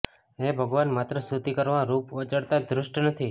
હે ભગવાન માત્ર સ્તુતિ કરવા રૂપ વાચાળતા ધૃષ્ટ નથી